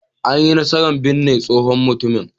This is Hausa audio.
An yi nasarar binne tsohon mutumin.